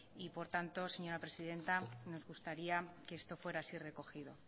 y por tanto señora presidenta nos gustaría que esto fuera así recogido